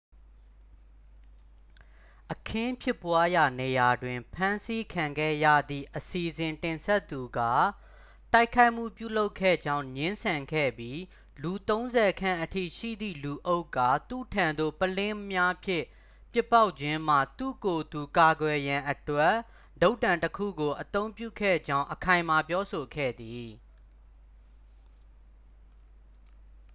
အခင်းဖြစ်ပွားရာနေရာတွင် ဖမ်းဆီးခံခဲ့ရသည့် အစီအစဉ်တင်ဆက်သူက တိုက်ခိုက်မှုပြုလုပ်ခဲ့ကြောင်း ငြင်းဆန်ခဲ့ပြီး လူသုံးဆယ်ခန့်အထိရှိသည့်လူအုပ်က သူ့ထံသို့ ပုလင်းများဖြင့် ပစ်ပေါက်ခြင်းမှ သူ့ကိုယ်သူ ကာကွယ်ရန်အတွက် တုတ်တံတစ်ခုကို အသုံးပြုခဲ့ကြောင်း အခိုင်အမာပြောဆိုခဲ့သည်